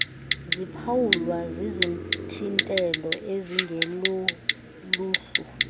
ziphawulwa zizithintelo ezingeloluhlu